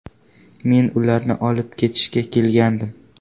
Men ularni olib ketishga kelgandim.